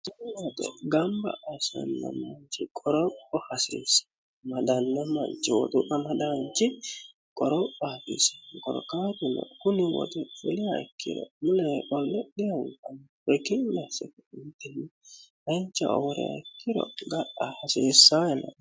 mato gamba asanna manchi qoroho hasiirse madalna manchi woxu'amadaanchi qorophafisigorokaatuno kuni woxe filiya ikkiro mule olledhihankun wekinmaessemitini hancha oworeha ikkiro ga'a hasiissaino